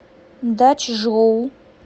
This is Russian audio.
дачжоу